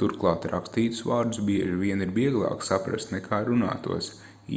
turklāt rakstītus vārdus bieži vien ir vieglāk saprast nekā runātos